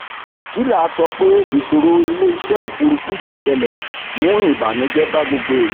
kila sọ pé ìṣòro iléiṣẹ òfurufú yí ṣẹlè mu ibànújẹ bá gbogbo ìlú